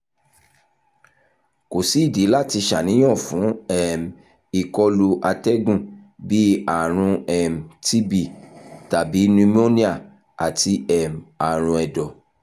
ko si idi lati ṣàníyàn fun um ikolu atẹgun bii arun um tb tabi pneumonia ati um aarun ẹdọ